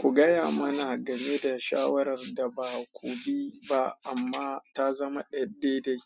Ku gaya mana gameda shawarar da baku bi ba amma ta zama dai-dai.